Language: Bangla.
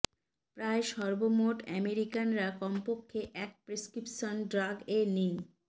প্রায় সর্বমোট আমেরিকানরা কমপক্ষে এক প্রেসক্রিপশন ড্রাগ এ নিন